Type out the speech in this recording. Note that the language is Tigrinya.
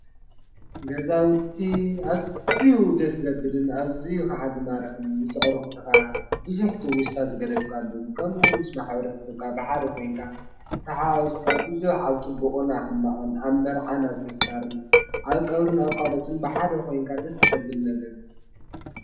ገዛውቲ እዙዩ ደስ ዘብልን ኣዙዪ ኸዓ ዝማረኽን ምስ ኣዕርኽትኻ ብዙኅ ትውሥታት ዝገደፍካሉን ከምኡውን ምስ ማሕበረሰብካ ብሓደ ኮይንካ ተሓዋዊስካ ብዙኅ ኣብ ጽቡቕን ሕማቐን ኣብ መርዓና ብተስካርን ኣብ ቀብርን ኳልኦትን ብሓደ ኾይንካ ደስ ዘብል ነገር እዮ።